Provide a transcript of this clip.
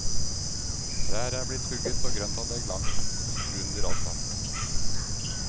Trær er blitt hugget og grøntanlegg lagt under asfalt.